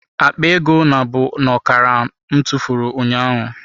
Akpa ego nabụ n'okara m tụfuru ụnyaahụ.